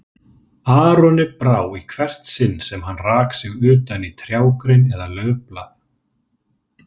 Aroni brá í hvert sinn sem hann rak sig utan í trjágrein eða laufblað.